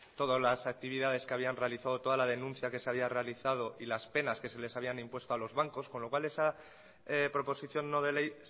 todas las actividades que habían realizado toda la denuncia que se había realizado y las penas que se les habían impuesto a los bancos con lo cual esa proposición no de ley